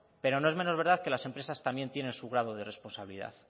pero no es menor verdad que las empresas también tienen su grado de responsabilidad